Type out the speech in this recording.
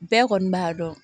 Bɛɛ kɔni b'a dɔn